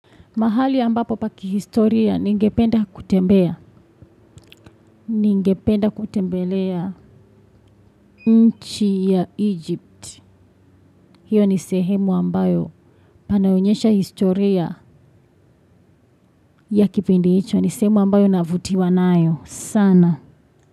Mahali ambapo pa kihistoria ningependa kutembelea nchi ya Egypt. Hiyo ni sehemu ambayo panaonyesha historia ya kipindi hicho. Ni sehemu ambayo navutiwa nayo. Sana.